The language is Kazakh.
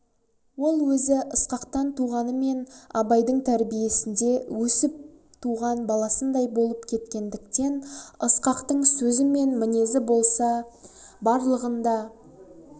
ол өзі ысқақтан туғанымен абайдың тәрбиесінде өсіп туған баласындай боп кеткендіктен ысқақтың сөзі ісі мінезі болса барлығын да